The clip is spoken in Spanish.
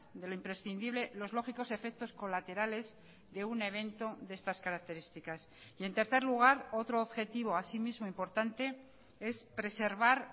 de lo imprescindible los lógicos efectos colaterales de un evento de estas características y en tercer lugar otro objetivo asimismo importante es preservar